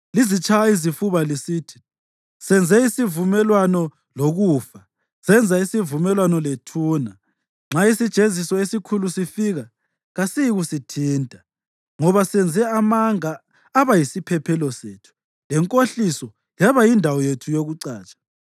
Lizitshaya izifuba lisithi, “Senze isivumelwano lokufa, senza isivumelwano lethuna. Nxa isijeziso esikhulu sifika, kasiyikusithinta, ngoba senze amanga aba yisiphephelo sethu lenkohliso yaba yindawo yethu yokucatsha.”